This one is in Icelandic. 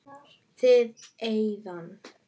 Þriðja eyðan.